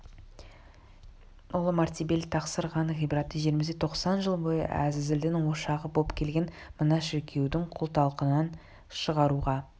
ұлы мәртебелі тақсыр хан ғибаратты жерімізде тоқсан жыл бойы әзәзілдің ошағы боп келген мына шіркеудің күл-талқанын шығаруға